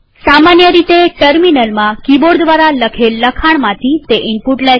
સામાન્ય રીતે ટર્મિનલમાં કિબોર્ડ દ્વારા લખેલ લખાણમાંથી તે ઈનપુટ લે છે